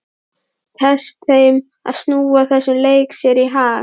Tekst þeim að snúa þessum leik sér í hag?